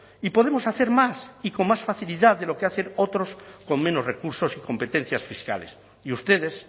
y podemos hacer más y con más facilidad de lo que hacen otros con menos recursos y competencias fiscales y ustedes